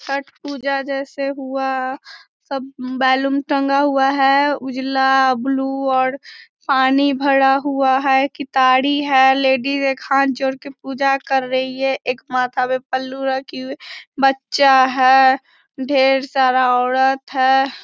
छठ पूजा जैसे हुआ सब बैलून टंगा हुआ है उजला ब्लू और पानी भरा हुआ है। कितारी है। लेडीज एक हाथ जोड़ के पूजा कर रही है एक माथा पे पल्लू रखी हुई बच्चा है ढेर सारा औरत है।